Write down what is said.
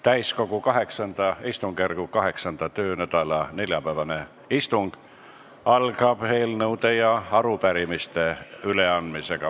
Täiskogu VIII istungjärgu 8. töönädala neljapäevane istung algab eelnõude ja arupärimiste üleandmisega.